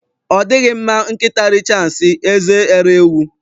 Ọ dịghị mma nkịta richaa nsị, eze eree ewu.